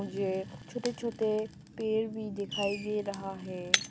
ये छोटे छोटे पेड़ भी दिखाई दे रहा है।